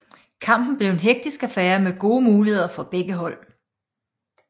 Kampen blev en hektisk affære med gode muligheder til begge hold